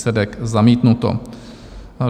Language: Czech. Výsledek: zamítnuto.